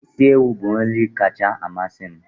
Isi ewu bụ nri kacha amasị m.